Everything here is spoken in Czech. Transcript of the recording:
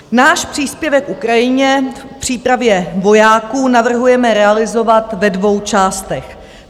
Náš příspěvek Ukrajině v přípravě vojáků navrhujeme realizovat ve dvou částech.